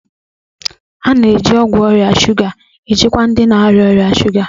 A na-eji ọgwụ ọrịa shuga ejikwa ndị na-arịa ọrịa shuga.